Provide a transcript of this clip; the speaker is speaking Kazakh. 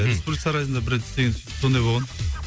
республика сарайында бір рет істеген сөйтіп сондай болған